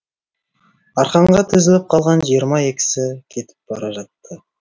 арқанға тізіліп қалған жиырма екісі кетіп бара жатты